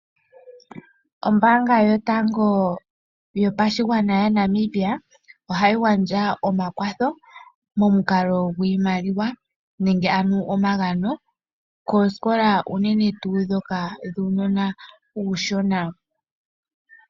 Ombanga yotango yopashigwana yaNamibia ohayi gandja omakwatho nenge omagano koosikola uunene tuu ndhoka dhuunona uushona.